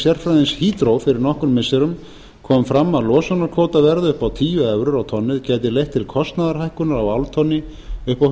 sérfræðings hydro fyrir nokkrum missirum kom fram að losunarkvótaverð upp á tíu evrur á tonnið gæti leitt til kostnaðarhækkunar á áltonni upp á